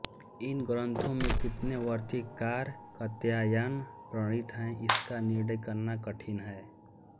इन ग्रन्थों में कितने वार्तिककार कात्यायन प्रणीत हैं इसका निर्णय करना कठिन है